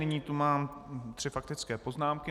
Nyní tu mám tři faktické poznámky.